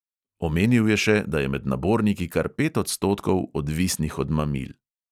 Omenil je še, da je med naborniki kar pet odstotkov odvisnih od mamil.